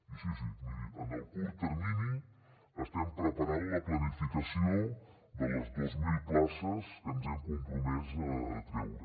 i sí sí miri en el curt termini estem preparant la planificació de les dos mil places que ens hem compromès a treure